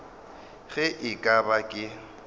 ge e ka ba ke